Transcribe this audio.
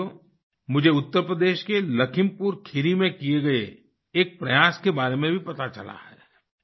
साथियो मुझे उत्तर प्रदेश के लखीमपुर खीरी में किए गए एक प्रयास के बारे में भी पता चला है